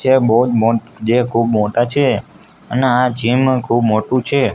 જે બોવ મોટ જે ખુબ મોટા છે અને આ જીમ ખુબ મોટુ છે.